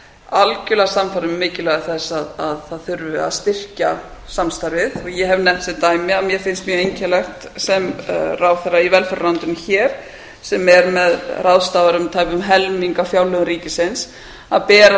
algjörlega sannfærðir um mikilvægi þess að það þurfi að styrkja samstarfið ég hef nefnt sem dæmi að mér finnst mjög einkennilegt sem ráðherra í velferðarráðuneytinu hér sem ráðstafar um tæpum helming af fjárlögum ríkisins að bera